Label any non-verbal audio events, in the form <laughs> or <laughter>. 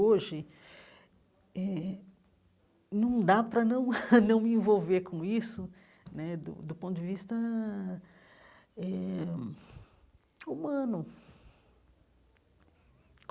Hoje eh, num dá para não <laughs> não me envolver com isso né, do do ponto de vista eh humano.